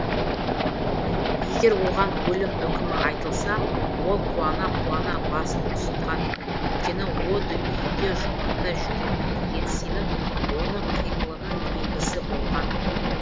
егер оған өлім үкімі айтылса ол қуана қуана басын ұсынған өйткені о дүниеде жұмақта жүремін деген сенім оның қимылының негізі болған